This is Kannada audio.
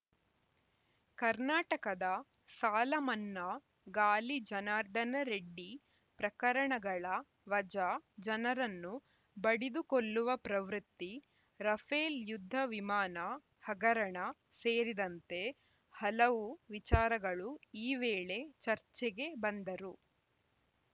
ಕರ್ನಾಟಕದ ಸಾಲ ಮನ್ನಾ ಗಾಲಿ ಜನಾರ್ದನ ರೆಡ್ಡಿ ಪ್ರಕರಣಗಳ ವಜಾ ಜನರನ್ನು ಬಡಿದುಕೊಲ್ಲುವ ಪ್ರವೃತ್ತಿ ರಫೇಲ್‌ ಯುದ್ಧ ವಿಮಾನ ಹಗರಣ ಸೇರಿದಂತೆ ಹಲವು ವಿಚಾರಗಳು ಈ ವೇಳೆ ಚರ್ಚೆಗೆ ಬಂದರು